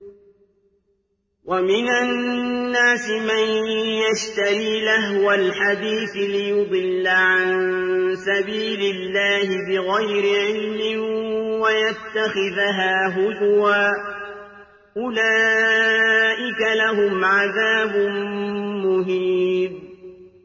وَمِنَ النَّاسِ مَن يَشْتَرِي لَهْوَ الْحَدِيثِ لِيُضِلَّ عَن سَبِيلِ اللَّهِ بِغَيْرِ عِلْمٍ وَيَتَّخِذَهَا هُزُوًا ۚ أُولَٰئِكَ لَهُمْ عَذَابٌ مُّهِينٌ